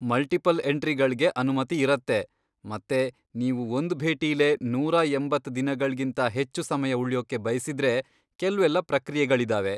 Multiple ಎಂಟ್ರಿಗಳ್ಗೆ ಅನುಮತಿ ಇರತ್ತೆ ಮತ್ತೆ ನೀವು ಒಂದ್ ಭೇಟಿಲೇ ನೂರಾ ಎಂಬತ್ತ್ ದಿನಗಳ್ಗಿಂತ ಹೆಚ್ಚು ಸಮಯ ಉಳ್ಯೋಕೆ ಬಯಸಿದ್ರೆ ಕೆಲ್ವೆಲ್ಲ ಪ್ರಕ್ರಿಯೆಗಳಿದಾವೆ.